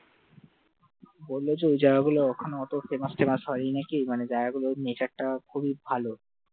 বললো যে ওই জায়গাগুলো ওখানে famous টেমাস হয়নি নাকি, মানে জায়গাগুলোর nature টা খুবই ভালো